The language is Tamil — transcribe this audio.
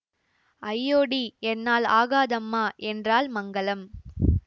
ஐயோடி என்னால் ஆகாதம்மா என்றாள் மங்களம்